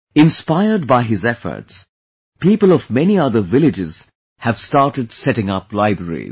Inspired by his efforts, people of many other villages have started setting up libraries